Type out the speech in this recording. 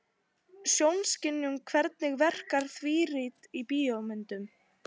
Sjónskynjun Hvernig verkar þrívídd í bíómyndum?